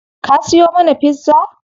Ka siyo mana pizza?